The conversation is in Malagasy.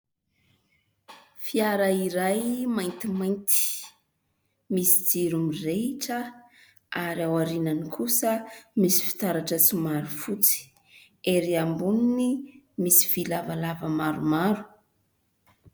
Fiara iray maintimainty. Misy jiro mirehitra ary ao aorianany kosa misy fitaratra somary fotsy. Ery amboniny misy vy lavalava maromaro.